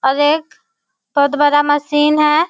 और एक बहुत बड़ा मशीन है।